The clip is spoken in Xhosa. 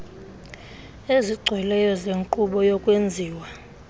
ezigcweleyo zenkqubo yokwenziwa